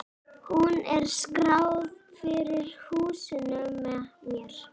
Hún er skráð fyrir húsinu með mér.